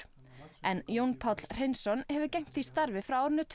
en Jón Páll Hreinsson hefur gegnt því starfi frá árinu tvö